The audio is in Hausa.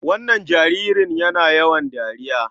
Wannan jaririn yana yawan dariya.